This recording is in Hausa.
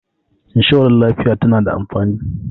inshorar lafiya tana da amfani